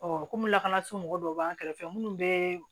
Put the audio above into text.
kɔmi lakanaso mɔgɔw dɔw b'an kɛrɛfɛ minnu bɛ